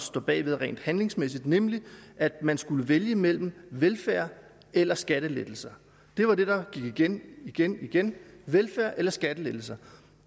står bag rent handlingsmæssigt nemlig at man skulle vælge mellem velfærd eller skattelettelser det var det der gik igen og igen igen velfærd eller skattelettelser